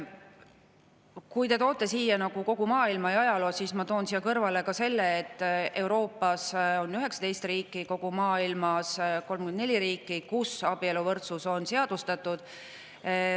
Kui te toote siin kogu maailma ja ajaloo, siis mina toon siia kõrvale selle, et Euroopas on 19 riiki ja kogu maailmas 34 riiki, kus abieluvõrdsus on seadustatud.